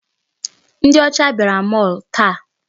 Ndị ọcha bịara mall taa.